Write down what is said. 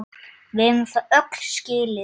Við eigum það öll skilið!